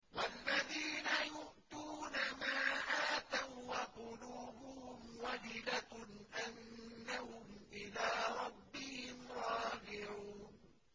وَالَّذِينَ يُؤْتُونَ مَا آتَوا وَّقُلُوبُهُمْ وَجِلَةٌ أَنَّهُمْ إِلَىٰ رَبِّهِمْ رَاجِعُونَ